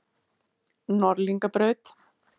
Norðlingabraut